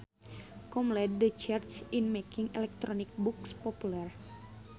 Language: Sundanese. com led the charge in making electronic books popular